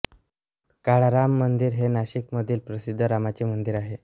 काळाराम मंदिर हे नाशिक मधील प्रसिद्ध रामाचे मंदिर आहे